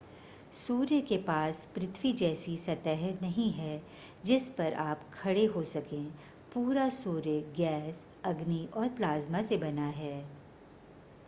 सूर्य के पास पृथ्वी जैसी सतह नहीं है जिस पर आप खड़े हो सकें पूरा सूर्य गैस अग्नि और प्लाज़्मा से बना है